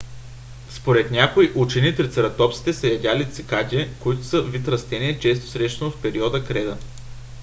според някои учени трицератопсите са ядяли цикади които са вид растение често срещано в периода креда